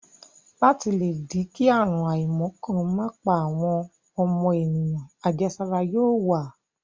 Láti le dí kí àrùn àìmọ̀ kan má pa àwọn ọmọ ènìyàn, àjẹsára yóò wà.